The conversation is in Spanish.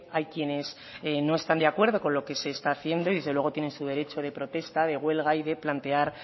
hay quienes no están de acuerdo con lo que se está haciendo y desde luego tienen su derecho de protesta de huelga y de plantear